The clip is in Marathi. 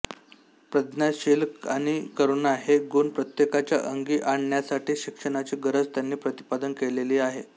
प्रज्ञा शील आणि करुणा हे गुण प्रत्येकाच्या अंगी आणण्यासाठी शिक्षणाची गरज त्यांनी प्रतिपादन केलेली आहे